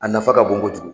A nafa ka bon kojugu